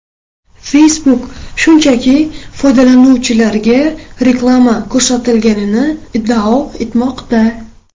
Facebook shunchaki foydalanuvchilarga reklama ko‘rsatilganini iddao etmoqda.